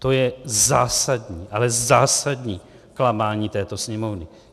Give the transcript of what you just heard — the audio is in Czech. To je zásadní, ale zásadní klamání této Sněmovny.